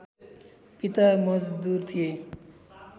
पिता मजदुर थिए